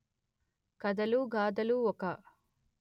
కథలుగాథలు ఒక